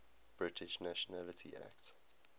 british nationality act